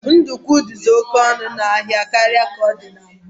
Ndukwu dizi oke ọnụ n'ahia karịa ka ọ dị mgbe mbụ